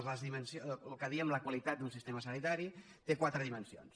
el que en diem la qualitat d’un sistema sanitari té quatre dimensions